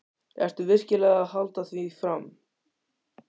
Ertu virkilega að halda því fram?